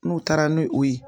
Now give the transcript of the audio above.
N'u taara ni o ye